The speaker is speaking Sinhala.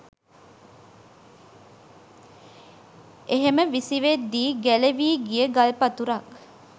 එහෙම විසිවෙද්දී ගැලවී ගිය ගල්පතුරක්